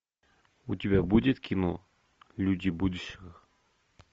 у тебя будет кино люди будущего